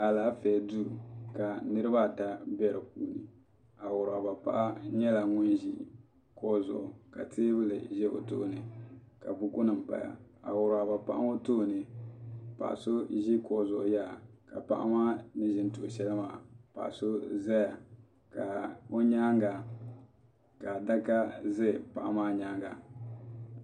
Alaafee duu ka niriba ata bɛ di puuni awuraba paɣa nyɛla ŋun ʒi kuɣu zuɣu ka teebuli ʒɛ o tooni ka buku nim paya awuraba paɣa ŋɔ tooni paɣa so ʒi kuɣu zuɣu yaha ka paɣa maa ni ʒi n tuhi shɛli maa paɣa so zaya ka o nyaanga ka adaka za paɣa maa nyaanga.